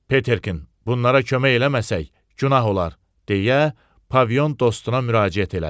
Peterkin, bunlara kömək eləməsək günah olar, deyə Pavion dostuna müraciət elədi.